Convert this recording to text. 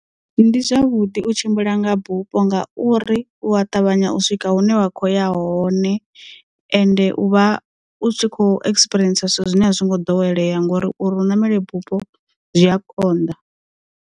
Ndi zwavhuḓi u tshimbila nga bupho ngauri u ya ṱavhanya u swika hune wa kho ya hone ende u vha u tshi kho experience zwithu zwine a zwi ngo ḓowelea ngori uri u ṋamela bupho zwi a konḓa.